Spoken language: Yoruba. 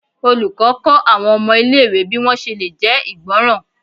olùkó kó àwọn ọmọ ilé ìwé bi wọn ṣe lè jé ìgbọràn